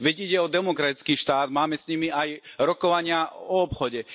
Veď ide o demokratický štát, máme s nimi aj rokovania o obchode.